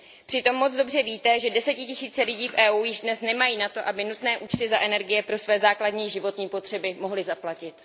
Přitom moc dobře víte, že desetitisíce lidí v EU již dnes nemají na to, aby nutné účty za energie pro své základní životní potřeby mohly zaplatit.